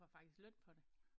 Du får faktisk løn for det